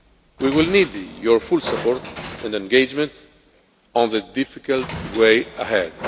We will need your full support and engagement on the difficult way ahead.